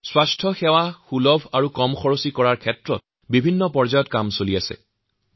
স্বাস্থ্য সেৱা অবাধ হওঁক সকলোৰে সহজলভ্য হওঁক জনসাধাৰণৰ বাবে সস্তীয়া আৰ সুলভ হওঁকতাৰ বাবে পৰ্যাপ্ত চেষ্টা কৰা হৈছে